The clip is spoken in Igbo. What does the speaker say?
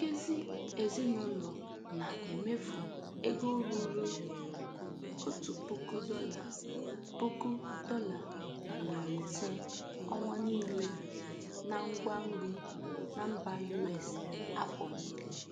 Nkezi ezinụlọ na-emefụ ego ruru otu puku dọla puku dọla na narị ise ọnwa niile na ngwa nri na mba US afọ niile.